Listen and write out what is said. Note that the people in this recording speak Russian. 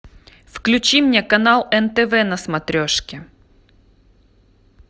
включи мне канал нтв на смотрешке